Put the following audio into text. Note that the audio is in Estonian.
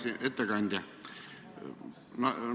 Hea ettekandja!